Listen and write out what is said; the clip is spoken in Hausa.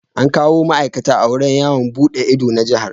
An kawo ma'aikata a wurin yawo buɗe ido na Jihar.